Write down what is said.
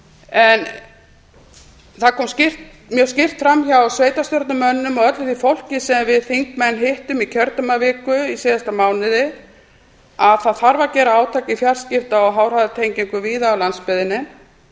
flutningsleiða það kom mjög skýrt fram hjá sveitarstjórnarmönnum og öllu því fólki sem við þingmenn hittum í kjördæmaviku í síðasta mánuði að það þarf að gera átak í fjarskipta og háhraðatengingum víða á landsbyggðinni